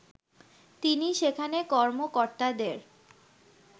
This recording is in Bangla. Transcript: তিনি সেখানে কর্মকর্তাদের